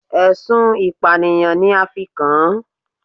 Ẹ̀sùn ìpànìyàn ni a fi kàn án